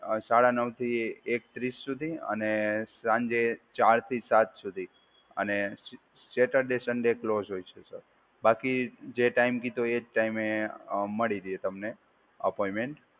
સાડા નવથી એક ત્રીસ સુધી અને સાંજે ચાર થી સાત સુધી અને સેટરડે સન્ડે કલોજ હોય છે સર. બાકી જે ટાઈમ કીધો એ જ ટાઈમે મળી રહે તમને અપોઈન્ટમેન્ટ.